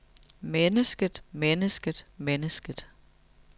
mennesket mennesket mennesket